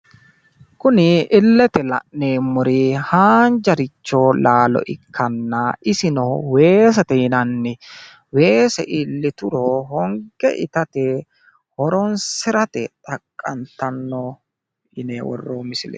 kuni illete la'neemmorichi haanjaricho laalo ikkanna isino weesete yinanni weese iillituro honge itate horonsirate xaqqantanno.